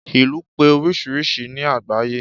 Ìlú pé oríṣiríṣi ni àgbáyé